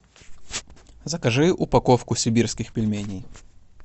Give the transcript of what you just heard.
закажи упаковку сибирских пельменей